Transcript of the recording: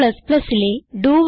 Cലെ ഡോ